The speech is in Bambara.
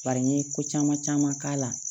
Bari n ye ko caman caman k'a la